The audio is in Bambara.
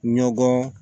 Ɲɔgɔn